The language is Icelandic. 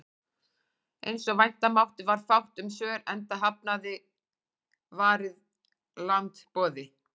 Eins og vænta mátti varð fátt um svör, enda hafnaði Varið land boði